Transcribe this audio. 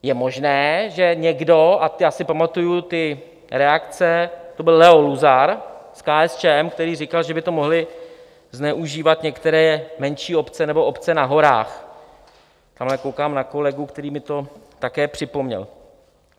Je možné, že někdo - a já si pamatuji ty reakce, to byl Leo Luzar z KSČM, který říkal, že by to mohly zneužívat některé menší obce nebo obce na horách - tamhle koukám na kolegu, který mi to také připomněl.